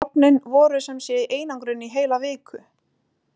Hrognin voru sem sé í einangrun í heila viku.